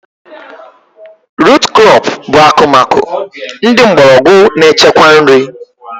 Rut krọp bụ akụmakụ ndị mgbọrọgwụ na-echekwa nri